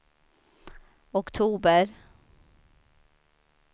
oktober